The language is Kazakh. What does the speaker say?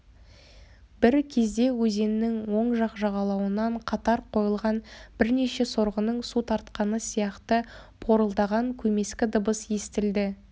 бір кезде өзеннің оң жақ жағалауынан қатар қойылған бірнеше сорғының су тартқаны сияқты порылдаған көмескі дыбыс естілді